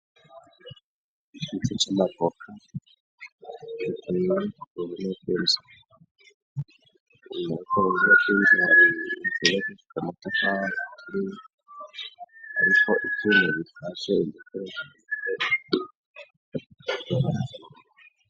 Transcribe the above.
Ikibuga kirimw' amabuye, iruhande y' amabuye har'utwatsi dukeya, iruhande y' uruzitiro har' igiti c' avoka gifis' amasham' atotahaye, iburyo har' inzu yubakishij' amatafar' ahiye, afise n' inkingi z' ivyuma bisiz' irangi ry' ubururu.